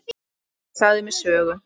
Hún sagði mér sögur.